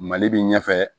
Mali bi ɲɛfɛ